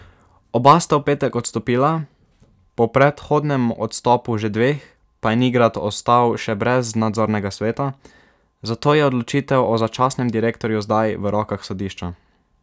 Oba sta v petek odstopila, po predhodnem odstopu že dveh pa je Nigrad ostal še brez nadzornega sveta, zato je odločitev o začasnem direktorju zdaj v rokah sodišča.